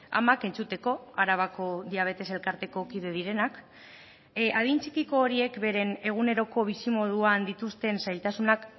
amak entzuteko arabako diabetes elkarteko kide direnak adin txikiko horiek beren eguneroko bizimoduan dituzten zailtasunak